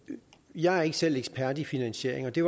jeg er ikke selv ekspert i finansiering og det